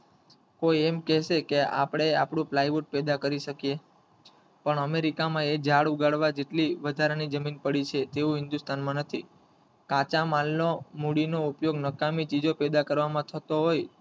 કોઈ એમ કેસેક આપડે આપડુ plywood પેદા કરી શકીયે પણ અમેરિકામાં એક ઝાડ ઉગાડવા જેટલી વધારાની જમીન પડી છે તેવું હિન્દુસ્તાનમાં નાથી કાચો માલ નો મૂડીનો ઉપયોગ નકામી ચીજો પેદા કરવામાં થતો હોય,